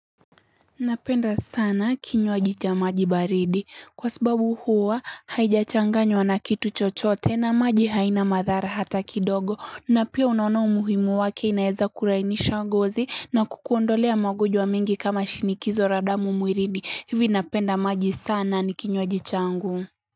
Napenda sana kinywaji cha maji baridi kwa sababu huwa haijachanganywa na kitu chochote na maji haina madhara hata kidogo na pia unaona umuhimu wake inaweza kulainisha ngozi na kukuondolea magonjwa mingi kama shinikizo la damu mwilini hivi napenda maji sana nikinywaji changu.